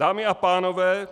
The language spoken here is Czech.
Dámy a pánové,